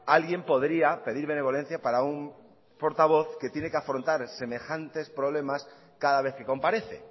alguien podría pedir benevolencia para un portavoz que tiene que afrontar semejantes problemas cada vez que comparece